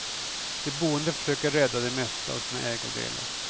De boende försökte rädda det mesta av sina ägodelar.